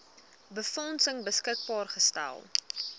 befondsing beskikbaar gestel